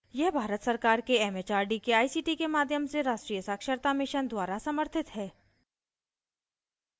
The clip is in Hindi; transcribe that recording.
यह भारत सरकार के it it आर डी के आई सी टी के माध्यम से राष्ट्रीय साक्षरता mission द्वारा समर्थित है